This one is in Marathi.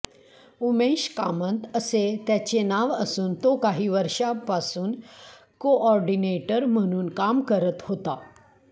उमेश कामत असे त्याचे नाव असून तो काही वर्षांपासून कोऑर्डीनेटर म्हणून काम करत होता